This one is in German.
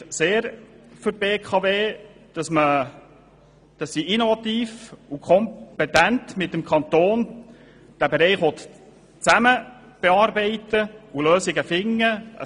Es spricht sehr für die BKW, dass sie diesen Bereich innovativ und sachkompetent bearbeiten und gemeinsam mit dem Kanton Lösungen finden will.